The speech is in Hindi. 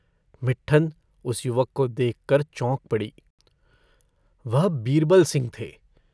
मिट्ठन उस युवक को देखकर चौंक पड़ी। वह बीरबल सिंह थे।